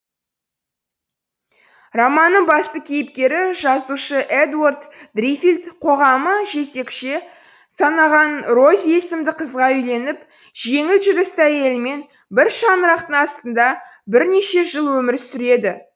романныңбасты кейіпкері жазушы эдуард дриффилд қоғамы жезөкше санаған рози есімдіқызға үйленіп жеңіл жүрісті әйелмен бір шаңырақтың астында бірнеше жылөмір сүреді